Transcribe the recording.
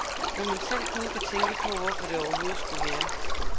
Når man selv kun kan tænke på, hvorfor det overhovedet skulle være.